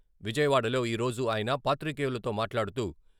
విజయవాడలో ఈరోజు ఆయన పాత్రికేయులతో మాట్లాడుతూ..